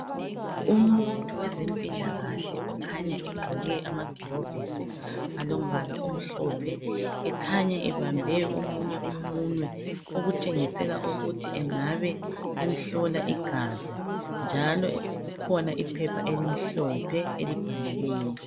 Umuntu wezempilakahle okhanya egqoke amagilovizi alombala omhlophe ekhanya ebambe omunye umunwe okutshengisela ukuthi engabe emhlola igazi njalo kukhona iphepha elimhlophe elibhaliweyo.